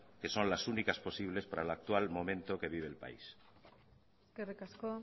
que son las únicas posibles para el actual momento que vive el país eskerrik asko